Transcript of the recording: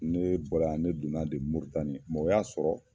Ne bɔra ne donna de mritani mɛ o y'a sɔrɔ